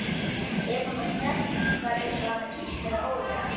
Ef hún var snert var eins og hana kitlaði ógurlega.